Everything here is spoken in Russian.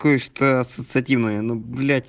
ассоциативная